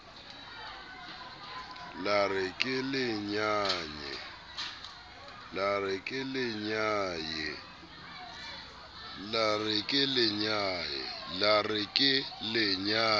la re ke le nyaye